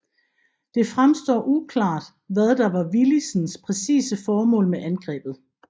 Det fremstår uklart hvad der var Willisens præcise formål med angrebet